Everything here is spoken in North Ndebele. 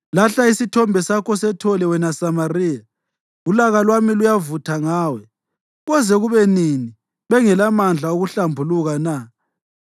Lahla isithombe sakho sethole, wena Samariya! Ulaka lwami luyavutha ngawe. Koze kube nini bengelamandla okuhlambuluka na?